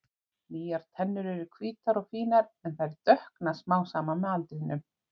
Nýjar tennur eru hvítar og fínar en þær dökkna smám saman með aldrinum.